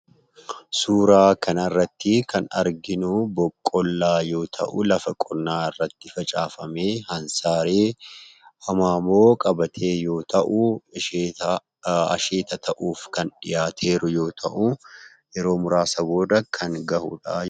Suuraa kanarrattii kan arginuu boqqolloo yoo ta'u lafa qonnaa irratti facaafamee, hansaaree hamaamoo qabatee yoo ta'uu asheetaa asheeta ta'uuf kan dhiyaateeru yoo ta'uu yeroo muraasa booda kan ga'uudhaa